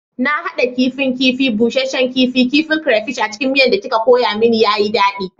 Na hada kifin kifi, busasshen kifi, kifin crayfish a cikin miya da kika koya mani, ya yi daɗi